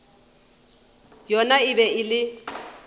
yona e be e le